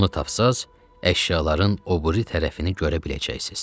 Onu tapsaz, əşyaların o biri tərəfini görə biləcəksiz.